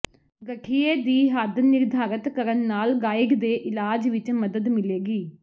ਗਠੀਏ ਦੀ ਹੱਦ ਨਿਰਧਾਰਤ ਕਰਨ ਨਾਲ ਗਾਈਡ ਦੇ ਇਲਾਜ ਵਿਚ ਮਦਦ ਮਿਲੇਗੀ